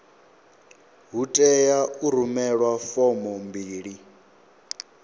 hu tea u rumelwa fomo mbili